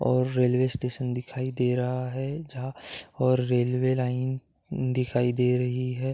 और railway station दिखाई दे रहा है जहाँ और रेलवे लाइन दिखाई दे रही है।